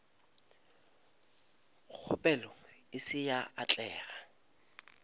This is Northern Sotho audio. kgopelo e se ya atlega